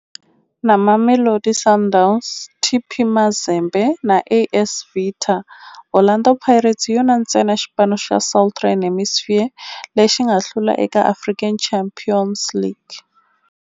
Na Mamelodi Sundowns, TP Mazembe na AS Vita, Orlando Pirates hi yona ntsena xipano xa Southern Hemisphere lexi nga hlula eka African Champions League.